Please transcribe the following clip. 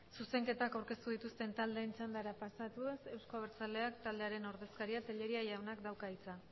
zuzenketak aurkeztu dituzten taldeen txandara pasatuz euzko abertzaleak taldearen ordezkariak telleria jaunak dauka hitza